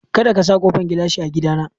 Kadaka ka sa ƙofan gilashi a gida na!